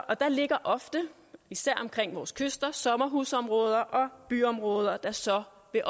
og der ligger ofte især omkring vores kyster sommerhusområder og byområder der så vil